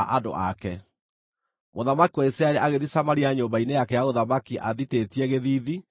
Mũthamaki wa Isiraeli agĩthiĩ Samaria nyũmba-inĩ yake ya ũthamaki athitĩtie gĩthiithi na arĩ mũrakaru.